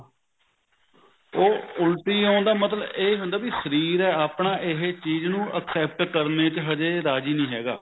ਉਹ ਉਲਟੀ ਆਉਣ ਦਾ ਮਤਲਬ ਇਹ ਹੁੰਦਾ ਵੀ ਸ਼ਰੀਰ ਆਪਣਾ ਇਹ ਚੀਜ ਨੂੰ except ਕਰਨ ਵਿੱਚ ਹਜੇ ਰਾਜੀ ਨਹੀਂ ਹੈਗਾ